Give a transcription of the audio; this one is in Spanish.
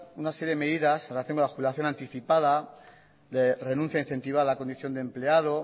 una serie de medidas en relación con la jubilación anticipada renuncia incentivada a la condición de empleado